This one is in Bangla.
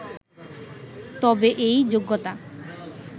তবে এই 'যোগ্যতা